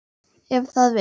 Ef það vill.